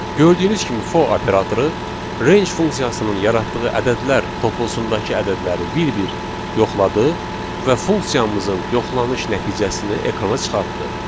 Gördüyünüz kimi for operatoru range funksiyasının yaratdığı ədədlər toplusundakı ədədləri bir-bir yoxladı və funksiyamızın yoxlanış nəticəsini ekrana çıxartdı.